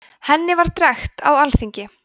henni var drekkt á alþingi